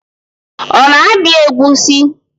Ọ na-abịa egusi?